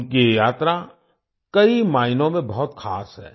उनकी ये यात्रा कई मायनों में बहुत खास है